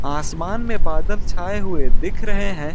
आसमान में बादल छाए हुए दिख रहे हैं।